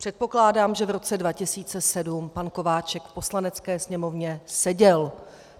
Předpokládám, že v roce 2007 pan Kováčik v Poslanecké sněmovně seděl.